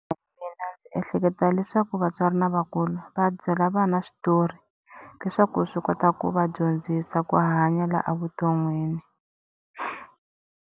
Mina ndzi ehleketa leswaku vatswari na vakulu va byela vana switori, leswaku swi kota ku va dyondzisa ku hanya laha a vuton'wini